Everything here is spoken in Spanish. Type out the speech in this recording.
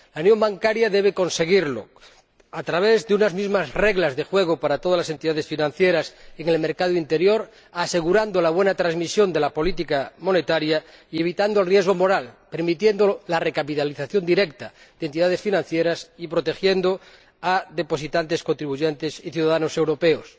La unión bancaria debe conseguirlo a través de unas mismas reglas de juego para todas las entidades financieras en el mercado interior, asegurando la buena transmisión de la política monetaria y evitando el riesgo moral, permitiendo la recapitalización directa de entidades financieras y protegiendo a depositantes contribuyentes y ciudadanos europeos.